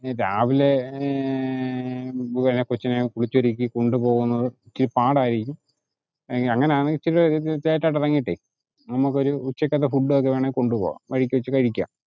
രാവിലെ കൊച്ചിനെ കുളിച്ചൊരുക്കി കൊണ്ടുപോകുന്നത് ഇച്ചിരി പാടായിരിക്കും അങ്ങിനെ ആണെങ്കില് ഇച്ചിരൂടെ late ആയിട്ടു ഇറങ്ങിയിട്ടേ നമുക്കൊരു ഉച്ചക്കലത്തെ food ഉം ഒക്കെ വേണേ കൊണ്ട് പോകാം വഴിക്കു വെച്ച് കഴിക്കാം